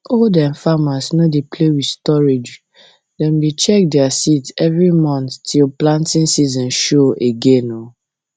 old um farmers no dey play with storage dem dey check their seeds every month till planting season show um again